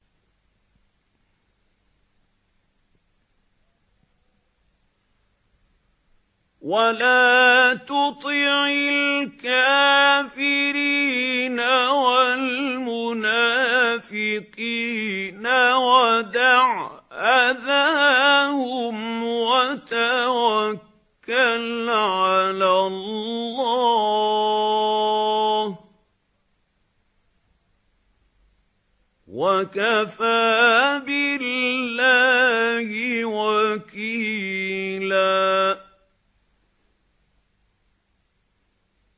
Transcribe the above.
وَلَا تُطِعِ الْكَافِرِينَ وَالْمُنَافِقِينَ وَدَعْ أَذَاهُمْ وَتَوَكَّلْ عَلَى اللَّهِ ۚ وَكَفَىٰ بِاللَّهِ وَكِيلًا